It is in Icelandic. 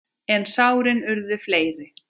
En sárin urðu fleiri.